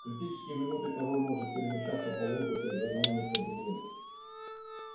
в критические минуты король может перемещаться по воздуху из одного места в другое